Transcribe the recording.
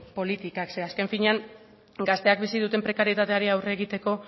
politikak ze azken finean gazteak bizi duten prekarietateari aurre egiteko